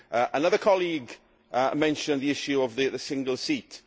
Another colleague mentioned the issue of the single seat.